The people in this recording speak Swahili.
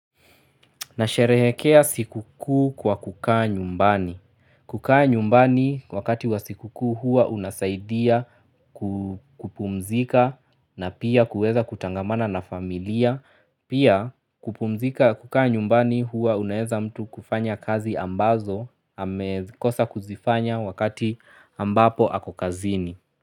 Nasherehekea sikuku kwa kukaa nyumbani. Kukaa nyumbani wakati wa sikuku hua unasaidia kupumzika na pia kuweza kutangamana na familia. Pia kupumzika kukaa nyumbani hua unaeza mtu kufanya kazi ambazo amekosa kuzifanya wakati ambapo ako kazini.